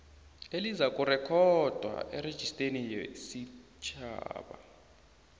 elizakurekhodwa erejisteni yesitjhaba